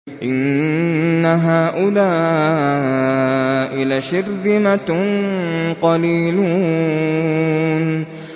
إِنَّ هَٰؤُلَاءِ لَشِرْذِمَةٌ قَلِيلُونَ